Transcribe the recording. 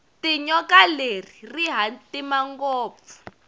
tinyoka leri rihhatima ngopfu